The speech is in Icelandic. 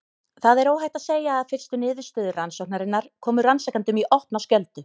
Það er óhætt að segja að fyrstu niðurstöður rannsóknarinnar komu rannsakendum í opna skjöldu.